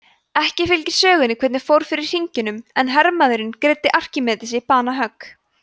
ekki fylgir sögunni hvernig fór fyrir hringjunum en hermaðurinn greiddi arkímedesi banahögg